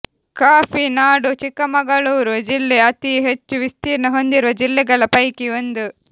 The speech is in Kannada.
ಕಾಫಿ ನಾಡು ಚಿಕ್ಕಮಗಳೂರು ಜಿಲ್ಲೆ ಅತೀ ಹೆಚ್ಚು ವಿಸ್ತ್ರೀರ್ಣ ಹೊಂದಿರುವ ಜಿಲ್ಲೆಗಳ ಪೈಕಿ ಒಂದು